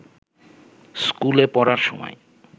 স্কুলে পড়ার সময়